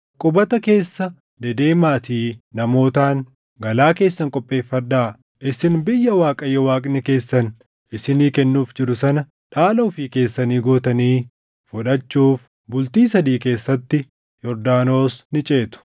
“Qubata keessa dedeemaatii namootaan, ‘Galaa keessan qopheeffadhaa. Isin biyya Waaqayyo Waaqni keessan isinii kennuuf jiru sana dhaala ofii keessanii gootanii fudhachuuf bultii sadii keessatti Yordaanos ni ceetu.’ ”